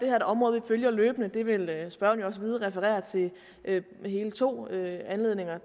er et område vi følger løbende det vil spørgeren jo også vide hun refererer til hele to anledninger